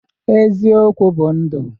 Eziokwu bụ ndụ.